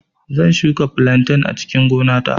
Zan shuka flantain a cikin gona ta